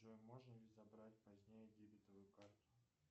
джой можно ли забрать позднее дебетовую карту